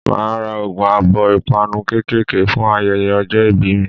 Màá a ra ogún abó 'ìpanu kékèké' fún ayeye ojó ibí mi